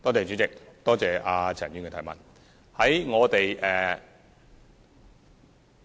主席，多謝陳議員的提問。